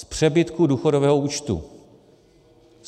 Z přebytku důchodového účtu.